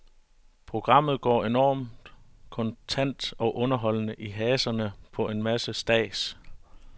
Programmet går enormt kontant og underholdende i haserne på en masse stads.